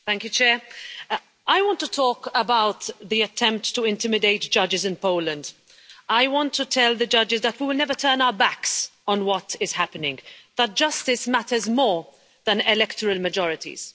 Mr President, I want to talk about the attempt to intimidate judges in Poland. I want to tell the judges that we will never turn our backs on what is happening, that justice matters more than electoral majorities.